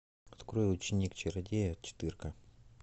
открой ученик чародея четырка